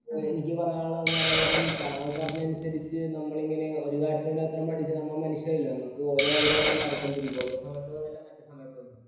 എനിക്ക് പറയാനുള്ളത് എന്താന്ന് പറയാൻ നേരം താങ്കൾ പറഞ്ഞതനുസരിച്ച് നമ്മൾ ഇങ്ങനെ ഒരു കാര്യത്തിന് വേണ്ടി അത്രയും പഠിച്ച് നമ്മൾ മനുഷ്യരല്ലേ നമുക്കൊരോ ആഗ്രഹങ്ങൾ മാറിക്കൊണ്ടിരിക്കും. ഒരു സമയത്ത്